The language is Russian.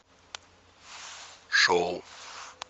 шоу